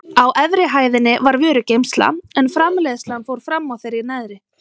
Á efri hæðinni var vörugeymsla en framleiðslan fór fram á þeirri neðri.